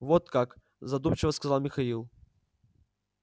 вот как задумчиво сказал михаил